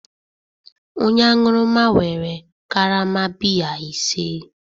Onye aṅụrụma were karama biya ise